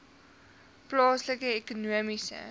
plaaslike ekonomiese